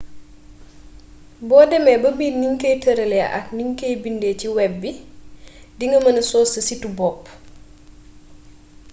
bo demmee ba miin niñ koy têralee ak nuñ koy bindee ci web bi di nga mëna sos sa situ bopp